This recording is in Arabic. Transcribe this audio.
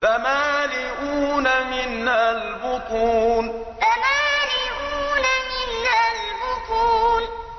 فَمَالِئُونَ مِنْهَا الْبُطُونَ فَمَالِئُونَ مِنْهَا الْبُطُونَ